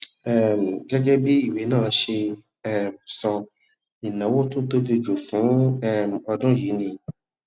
um gégé bí ìwé náà ṣe um sọ ìnáwó tó tóbi jù lọ fún um ọdún yìí ni